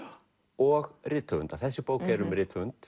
og rithöfunda þessi bók er um rithöfund